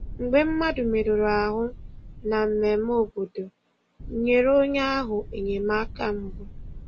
Mgbe mmadụ merụrụ ahụ na mmemme obodo, nyere onye ahụ enyemaka mbụ.